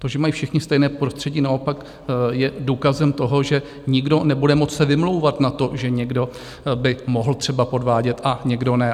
To, že mají všichni stejné prostředí, naopak je důkazem toho, že nikdo nebude moci se vymlouvat na to, že někdo by mohl třeba podvádět a někdo ne.